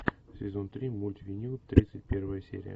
сезон три мульт винил тридцать первая серия